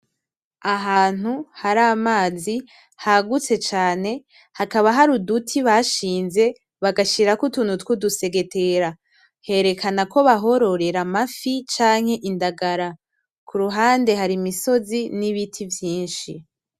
Ahantu hari amazi hagutse cane hakaba hari uduti bashinze bashirako utuntu tw’udusegetera herekana ko bahororera amafi canke indagara ku ruhande hari imisozi n’ibiti vyishi.